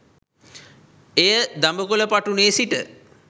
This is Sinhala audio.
එය දඹකොල පටුනේ සිට